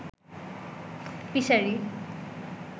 fishery